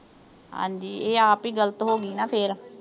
ਹਾਂਜੀ ਇਹ ਆਪ ਹੀ ਗਲਤ ਹੋਗੀ ਨਾ ਫਿਰ।